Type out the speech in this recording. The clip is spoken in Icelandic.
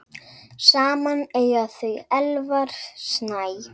Saman eiga þau Elvar Snæ.